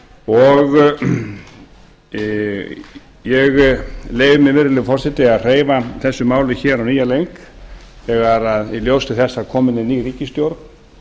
og ég leyfi mér virðulegi forseti að hreyfa þessu máli á nýjan leik í ljósi þess að komin er ný ríkisstjórn